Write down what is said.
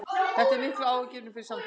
Þetta er mikið áhyggjuefni fyrir samtökin